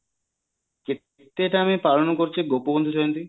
କେତେଟା ଆମେ ପାଳନ କରୁଚେ ଗୋପବନ୍ଧୁ ଜୟନ୍ତୀ